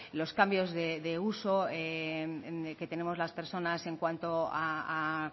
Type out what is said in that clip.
los cambios de uso que tenemos las personas en cuanto a